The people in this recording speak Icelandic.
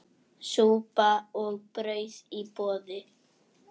Súpa og brauð í boði.